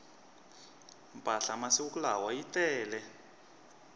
mpahla masiku lawa yi tele